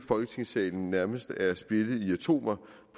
folketingssalen nærmest er splittet i atomer